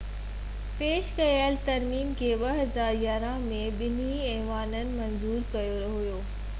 پيش ڪيل ترميم کي 2011 ۾ ٻنهي ايوانن منظور ڪيو هيو